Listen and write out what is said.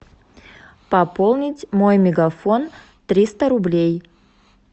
пополнить мой мегафон триста рублей